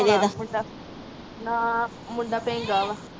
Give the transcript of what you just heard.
ਨਾ ਮੁੰਡਾ